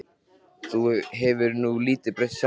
Þú hefur nú lítið breyst sjálfur.